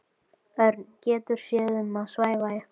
Örn getur séð um að svæfa ykkur.